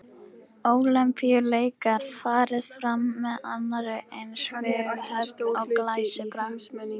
Ólympíuleikar farið fram með annarri eins viðhöfn og glæsibrag.